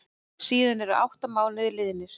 Síðan eru átta mánuðir liðnir.